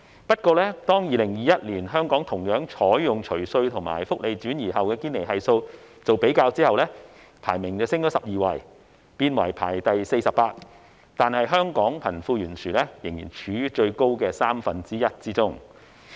不過，當該學院於2021年採用香港除稅及福利轉移後的堅尼系數作比較，香港的排名則上升12位，變為第四十八位，但香港仍處於貧富懸殊最大的三分之一經濟體之中。